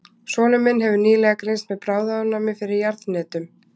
Sonur minn hefur nýlega greinst með bráðaofnæmi fyrir jarðhnetum.